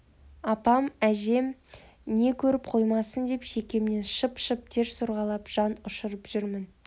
апам не әжем көріп қоймасын деп шекемнен шып-шып тер сорғалап жан ұшырып жүрмін